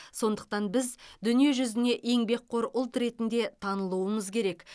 сондықтан біз дүние жүзіне еңбекқор ұлт ретінде танылуымыз керек